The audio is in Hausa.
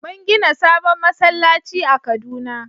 Mun gina sabon masallaci a kaduna